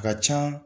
A ka can